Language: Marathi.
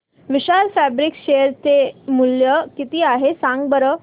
विशाल फॅब्रिक्स शेअर चे मूल्य किती आहे सांगा बरं